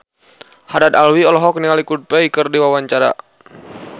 Haddad Alwi olohok ningali Coldplay keur diwawancara